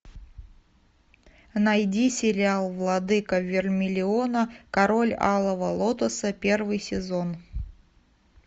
найди сериал владыка вермилиона король алого лотоса первый сезон